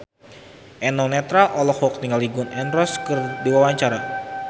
Eno Netral olohok ningali Gun N Roses keur diwawancara